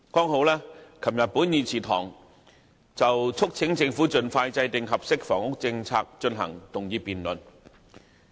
昨天本會正好就促請政府盡快制訂合適的房屋政策進行議案辯論。